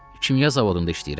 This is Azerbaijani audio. Kimya zavodunda işləyirəm.